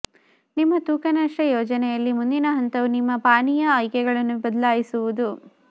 ನಿಮ್ಮ ತೂಕ ನಷ್ಟ ಯೋಜನೆಯಲ್ಲಿ ಮುಂದಿನ ಹಂತವು ನಿಮ್ಮ ಪಾನೀಯ ಆಯ್ಕೆಗಳನ್ನು ಬದಲಾಯಿಸುವುದು